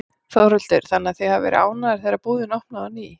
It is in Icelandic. Þórhildur: Þannig að þið hafið verið ánægðar þegar búðin opnaði á ný?